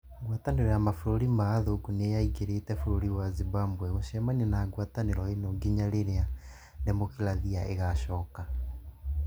Ngwatanĩro ya mabũrũri ma athũngũ nĩ yagirĩtie bũrũri wa Zimbabwe gũcemania na ngwatanĩro ĩyo kinya rĩrĩa demokIrathia ĩgaacoka.